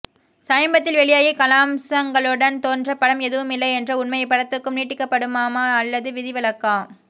சமீபத்தில் வெளியாகி கலாம்ச்ங்களுடன் தோற்ற படம் எதுவுமில்லை என்ற உண்மை இப்படத்துக்கும் நீட்டிக்கப் படுமமா அல்லது விதி விலக்கக்